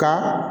Kan